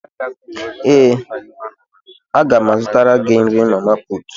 Ee, a ga m azụtara gị nrí mamaputù